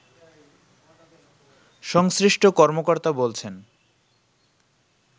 সংশ্লিষ্ট কর্মকর্তা বলছেন